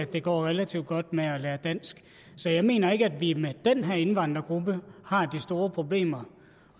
det går relativt godt med at lære dansk så jeg mener ikke at vi med den her indvandrergruppe har de store problemer